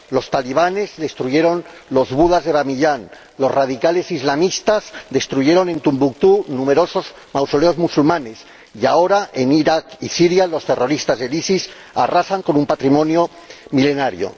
Los talibanes destruyeron los Budas de Bamiyan, los radicales islamistas destruyeron en Tombuctú numerosos mausoleos musulmanes y, ahora, en Irak y Siria, los terroristas del ISIS arrasan con un patrimonio milenario.